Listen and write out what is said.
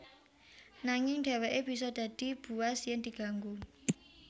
Nanging dheweke bisa dadi buas yen diganggu